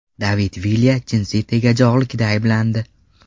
David Vilya jinsiy tegajog‘likda ayblandi.